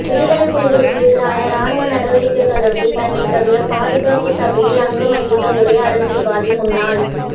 விடுதலைப் புலிகளுக்கு ஏதிரான இராணுவ நடவடிக்கை தொடர்பில் தன்னை தவிர பாதுகாப்பு சபையில் அங்கம் வகித்த ஒரே அரசியல்வாதி முன்னாள்